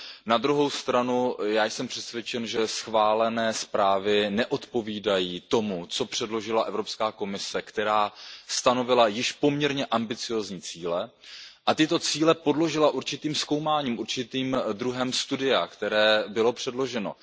Na druhou stranu já jsem přesvědčen, že schválené zprávy neodpovídají tomu, co předložila Evropská komise, která stanovila již poměrně ambiciózní cíle a tyto cíle podložila určitým zkoumáním, určitým druhem studia, které bylo předloženo.